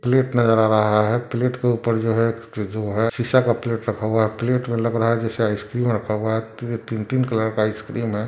Plate नजर आ रहा है प्लेट के ऊपर जो है ज जो है सीसा का प्लेट रखा हुआ है प्लेट मे लग रहा है जैसे आइसक्रीम रखा हुआ है ती तीन-तीन कलर का आइसक्रीम है।